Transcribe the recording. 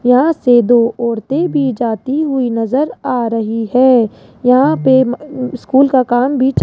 यहां से दो औरतें भी जाती हुई नजर आ रही है यहां पे स्कूल का काम भी च --